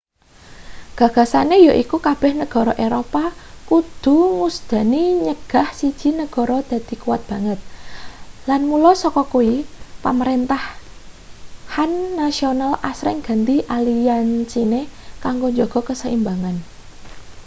gagasane yaiku kabeh negara eropa kudu ngusadani nyegah siji negara dadi kuwat banget lan mula saka kuwi pamrentahan nasional asring ganti aliansine kanggo njaga kaseimbangan